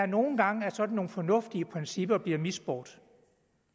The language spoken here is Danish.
nogle gange at sådan nogle fornuftige principper bliver misbrugt